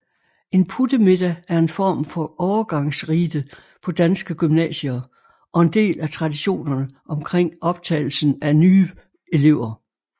En puttemiddag er en form for overgangsrite på danske gymnasier og en del af traditionerne omkring optagelsen af nye elever